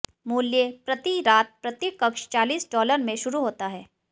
मूल्य प्रति रात प्रति कक्ष चालीस डॉलर में शुरू होता है